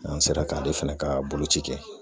N'an sera k'ale fɛnɛ ka boloci kɛ